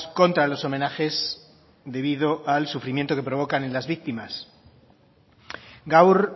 contra los homenajes debido al sufrimiento que provocan en las víctimas gaur